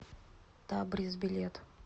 табрис билет